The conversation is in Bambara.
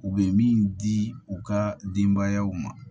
U bɛ min di u ka denbayaw ma